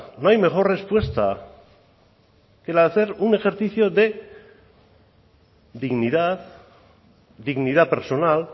no hay mejor respuesta que la de hacer un ejercicio de dignidad dignidad personal